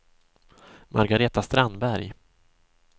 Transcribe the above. Margareta Strandberg